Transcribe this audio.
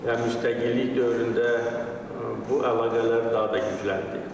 Və müstəqillik dövründə bu əlaqələr daha da gücləndi.